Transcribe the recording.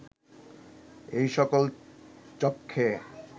এই সকল চক্ষে